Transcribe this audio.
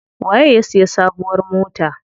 Waye ya siya sabuwar mota?